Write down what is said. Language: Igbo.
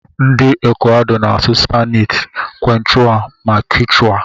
Ndi equador na asụ spainish, quechua, ma kichwa.